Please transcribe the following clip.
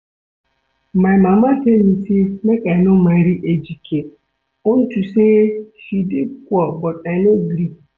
My mama tell me say make I no marry Ejike unto say he dey poor but I no gree